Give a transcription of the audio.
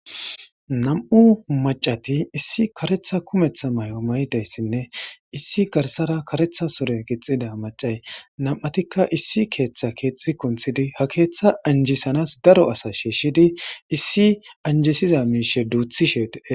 Nam'u maca nayit issi karetha kumetha mayo mayida issinne issi garsara karetha sure gixxida macay nam'atikka issi keeththa keexxi kunthidi ha keeththa anjisanas daro asa shiishshidi issi anjisiza miishe duuthishe dees .